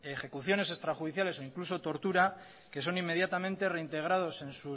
ejecuciones extrajudiciales o incluso tortura que son inmediatamente reintegrados